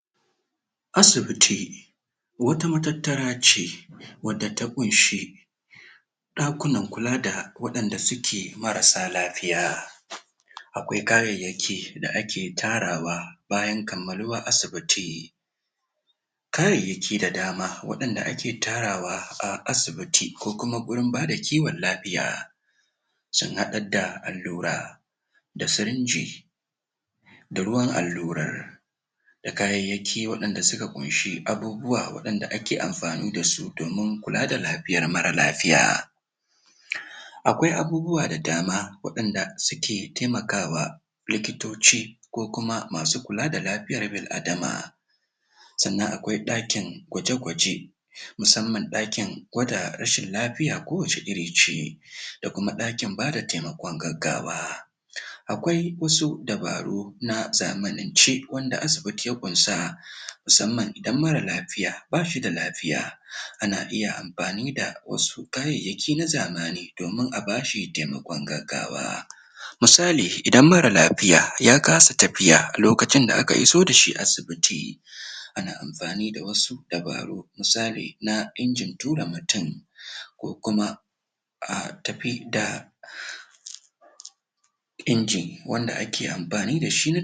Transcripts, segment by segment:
Illolin ciwon gonoriya, idan ba za a magance shi ba, da muhimmancin neman magani, da wuri. ciwon gonoriya; cuta ce da ake ɗauka ta hanyar jima'i,? kuma tana da matuƙar illa, idan ba a magance ta da wuri ba. Idan mutum ya kamu da cutar, kuma bai nemi magani ba, tana iya haddasa masa matsaloli, tsanani ga lafiya. Na ɗaya: matsaloli ga mata, zai iya haddasa ciwon mahaifa, wanda ake kira pelvic inflammatory disease (PID), wanda ke iya haifar da zubar ciki, ko kuma rashin haihuwa gaba ɗaya. Yana iya haddasa kumburin mahaifa, da illa ga jarirai. Idan mace mai juna biyu tana da????? ɗauke da wannan cuta, tana iya shafar??? jaririnta, a yayin haihuwa., wanda zai iya haddasa makanta, ko kuma matsaloli a hunhu. Mahimmancin neman magani? da wuri.? Ana iya warkar da cutar,? idan aka gano wannan cuta ta gonorrhea da wuri,? ana iya magance ta??? da ƙwayoyin magani,??? kafin ta haddasa illa mai tsanani.? Idan anyi amfani da magani da wuri,? yana taimakawa yaɗuwar cutar? ga wasu mutane. Magance cutar? da wuri,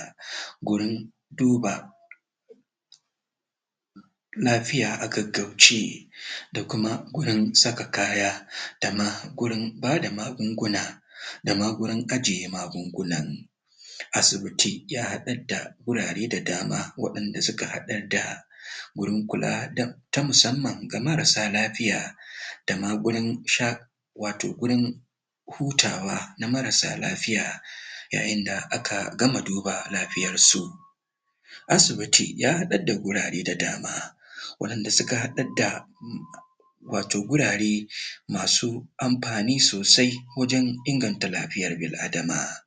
tana iya?